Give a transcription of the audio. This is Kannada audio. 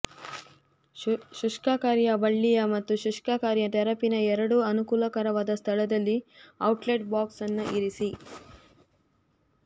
ಶುಷ್ಕಕಾರಿಯ ಬಳ್ಳಿಯ ಮತ್ತು ಶುಷ್ಕಕಾರಿಯ ತೆರಪಿನ ಎರಡೂ ಅನುಕೂಲಕರವಾದ ಸ್ಥಳದಲ್ಲಿ ಔಟ್ಲೆಟ್ ಬಾಕ್ಸ್ ಅನ್ನು ಇರಿಸಿ